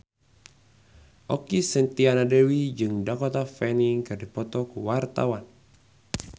Okky Setiana Dewi jeung Dakota Fanning keur dipoto ku wartawan